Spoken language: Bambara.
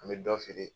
An bɛ dɔ feere